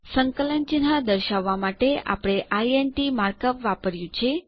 સંકલન ચિન્હ દર્શાવવાં માટે આપણે ઇન્ટ માર્ક અપ વાપર્યું છે